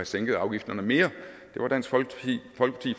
sænket afgifterne mere det var dansk folkeparti